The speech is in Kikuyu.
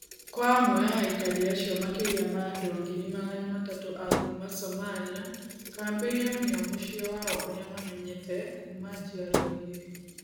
Kwa amwe a aikari acio makĩria ma andũ ngiri magana matatũ a kuuma Somalia, kambĩ ĩyo nĩyo mũciĩ wao ũrĩa mamenyete kuuma njiarũa igĩrĩ.